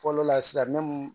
Fɔlɔ la sisan